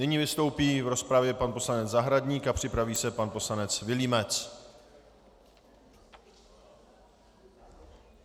Nyní vystoupí v rozpravě pan poslanec Zahradník a připraví se pan poslanec Vilímec.